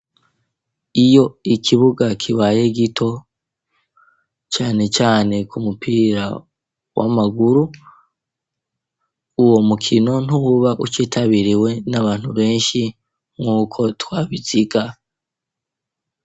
Iyo ikibuga kibaye gito cane cane ku mupira w'amaguru uwo mukino ntuba ukitabiriwe n'abantu benshi nk'uko twabiziga.